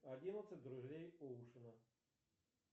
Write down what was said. одиннадцать друзей оушена